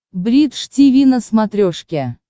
бридж тиви на смотрешке